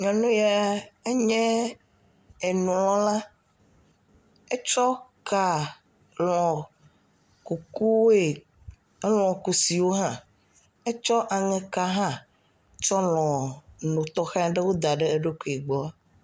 Nyɔnu ya enye enulɔla, etsɔ ka lɔ nu kukuwoe, elɔ kusiwo hã etsɔ aŋeka hã tsɔ lɔ nutɔxewo da ɖe eɖokui gbɔ.